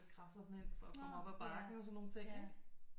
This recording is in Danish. Kræfterne ind for at komme op ad bakken og sådan nogle ting ikke